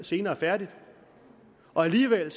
senere færdigt og alligevel